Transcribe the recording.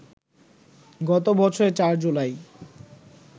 গত বছরের ৪ জুলাই